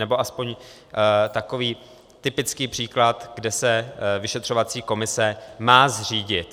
Nebo aspoň takový typický příklad, kde se vyšetřovací komise má zřídit.